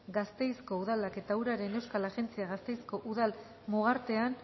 gasteizko udalak eta uraren euskal agentziak gasteizko udal mugartean